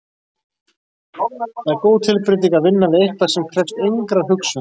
Það er góð tilbreyting að vinna við eitthvað sem krefst engrar hugsunar.